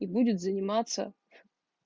и будет заниматься